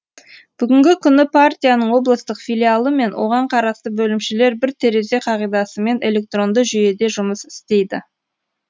бүгінгі күні партияның облыстық филиалы мен оған қарасты бөлімшелер бір терезе қағидасымен электронды жүйеде жұмыс істейді